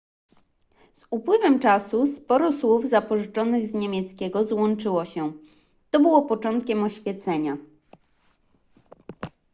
z upływem czasu sporo słów zapożyczonych z niemieckiego złączyło się to było początkiem oświecenia